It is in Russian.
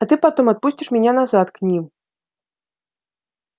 а ты потом отпустишь меня назад к ним